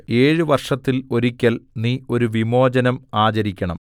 ഏഴു വർഷത്തിൽ ഒരിക്കൽ നീ ഒരു വിമോചനം ആചരിക്കണം